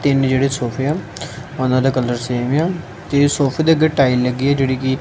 ਤਿੰਨ ਜਿਹੜੇ ਸੋਫੇ ਆ ਉਹਨਾਂ ਦਾ ਕਲਰ ਸੇਮ ਆ ਤੇ ਸੋਫੇ ਦੇ ਅੱਗੇ ਟਾਈਲ ਲੱਗੀ ਹੈ ਜਿਹੜੀ ਕਿ--